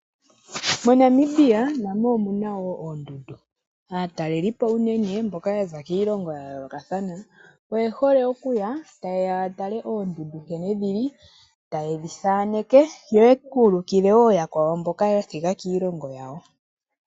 Mo Namibia namo omuna woo oondunda . Aatalelipo unene mboka yaza kiilongo ya yoolokathana oye hole okuya ya tale oondundu nkene dhili . Taye dhi thaaneke yo ye kuulukile woo yakwawo mboka ya thiga kiilongo yawo.